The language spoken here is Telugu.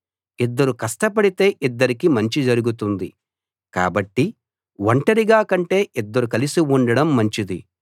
ఇద్దరు కష్టపడితే ఇద్దరికీ మంచి జరుగుతుంది కాబట్టి ఒంటరిగా కంటే ఇద్దరు కలిసి ఉండడం మంచిది